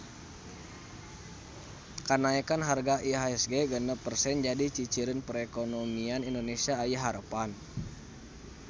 Kanaekan harga IHSG genep persen jadi ciciren perekonomian Indonesia aya harepan